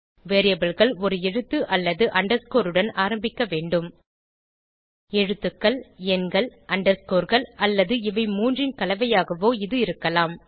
Variableகள் ஒரு எழுத்து அல்லது அண்டர்ஸ்கோர் உடன் ஆரம்பிக்க வேண்டும் எழுத்துகள் எண்கள் underscoreகள் அல்லது இவை மூன்றின் கலவையாகவோ இது இருக்கலாம்